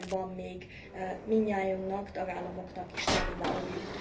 És ebben van még mindnyájunknak és a tagállamoknak is tennivalójuk.